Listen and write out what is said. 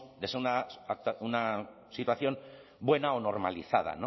de ser una situación buena o normalizada